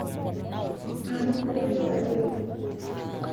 Anu kulotu adol?